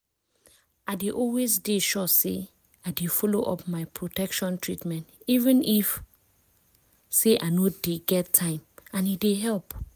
i dey always de sure say i dey follow up my protection treatment even if say i no dey get time and e dey help